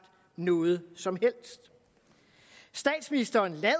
noget som helst statsministeren lader